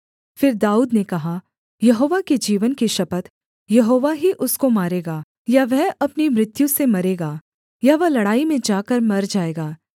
फिर दाऊद ने कहा यहोवा के जीवन की शपथ यहोवा ही उसको मारेगा या वह अपनी मृत्यु से मरेगा या वह लड़ाई में जाकर मर जाएगा